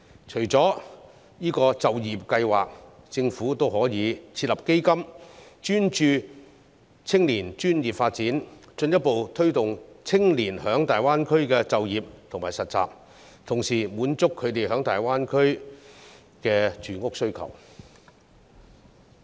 除了就業計劃，政府也可以設立基金，專注青年專業發展，進一步推動青年在大灣區的就業和實習，同時滿足他們在大灣區的住屋需求。